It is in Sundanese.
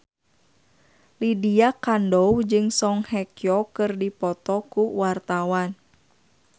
Lydia Kandou jeung Song Hye Kyo keur dipoto ku wartawan